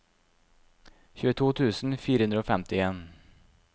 tjueto tusen fire hundre og femtien